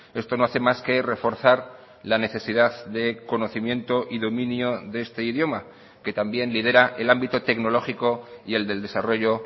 esto no hace más que reforzar la necesidad de conocimiento y dominio de este idioma que también lidera el ámbito tecnológico y el del desarrollo